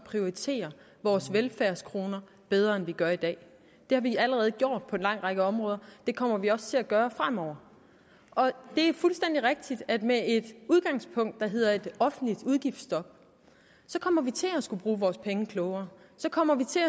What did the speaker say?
prioritere vores velfærdskroner bedre end vi gør i dag det har vi allerede gjort på en lang række områder og det kommer vi også til at gøre fremover det er fuldstændig rigtigt at med et udgangspunkt der hedder et offentligt udgiftsstop kommer vi til at skulle bruge vores penge klogere så kommer vi til